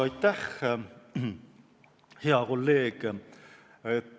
Aitäh, hea kolleeg!